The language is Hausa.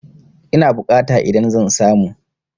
Ina bukata idan zan samu?